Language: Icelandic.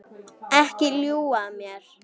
Ekki ljúga að mér.